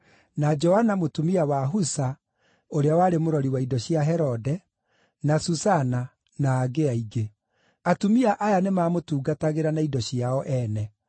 na Joana mũtumia wa Husa, ũrĩa warĩ mũrori wa indo cia Herode; na Susana; na angĩ aingĩ. Atumia aya nĩmamũtungatagĩra na indo ciao ene.